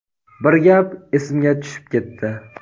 bir gap esimga tushib ketdi:.